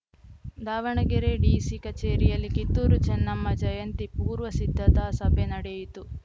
Davanagere DC ಕಚೇರಿಯಲ್ಲಿ ಕಿತ್ತೂರು ಚೆನ್ನಮ್ಮ ಜಯಂತಿ ಪೂರ್ವ ಸಿದ್ಧತಾ ಸಭೆ ನಡೆಯಿತು